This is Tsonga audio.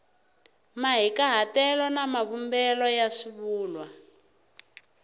mahikahatelo na mavumbelo ya swivulwa